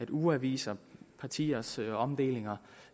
ugeaviser partiers omdelinger